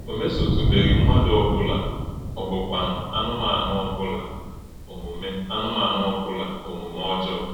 Ọ mèsọ̀tú̄bèghị̄ ḿmádụ̣ ọ́bụ̀la mà ọ́bụ̀kwànụ̄ ànụ̣mánụ̣ ọ́bụ̀la òmùmè̄ ànụ̣mánụ̣ ọ́bụ̀la òmùmè̄ ọ́jọọ̄.